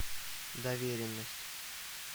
доверенность